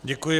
Děkuji.